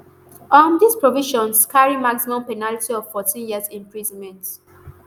um these provisions carry maximum penalty of fourteen years imprisonment.